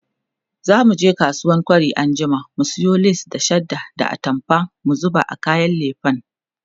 zamuje kasuwan kwari anjima mu sayo lace da shadda da atamfa mu zuba a kayan lefen